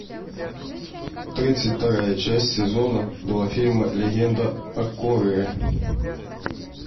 тридцать вторая часть сезона два фильма легенда о корре